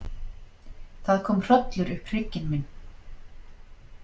Það kom hrollur upp hrygginn minn.